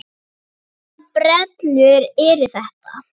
Hvaða brellur eru þetta?